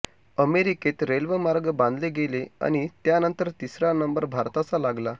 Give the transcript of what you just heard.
अमेरिकेत रेल्वेमार्ग बांधले गेले आणि त्यानंतर तिसरा नंबर भारताचा लागला